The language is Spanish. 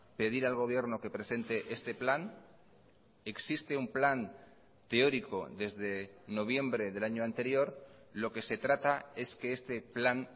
pedir al gobierno que presente este plan existe un plan teórico desde noviembre del año anterior lo que se trata es que este plan